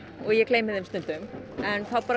ég gleymi þeim stundum en þá